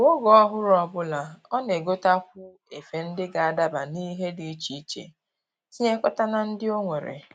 Kwa oge ọhụrụ ọbụla, ọ na-egotakwu efe ndị ga-adaba n'ihe dị iche iche tinyekọta na ndị o nwere